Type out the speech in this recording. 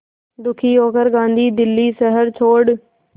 दुखी होकर गांधी दिल्ली शहर छोड़